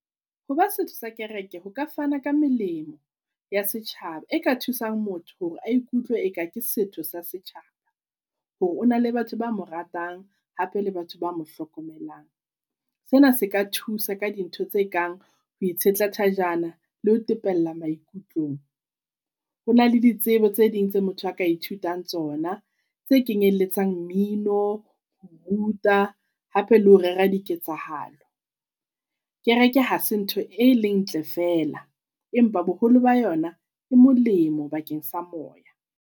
Ho ba setho sa kereke ho ka fana ka melemo ya setjhaba e ka thusang motho hore a ikutlwe eka ke setho sa setjhaba, hore o na le batho ba moratang hape le batho ba mohlokomelang. Sena se ka thusa ka dintho tse kang ho itshetla thajana le ho tepella maikutlong. Hona le ditsebo tse ding tse motho a ka ithutang tsona tse kenyelletsang mmino, ho ruta hape le ho rera diketsahalo. Kereke ha se ntho e leng ntle fela empa boholo ba yona e molemo bakeng sa moya.